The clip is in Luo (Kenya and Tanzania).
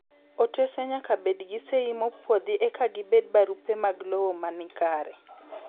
Otese nyaka bed gi sei mopuodhi eka gibed barupe mag lowo manikare.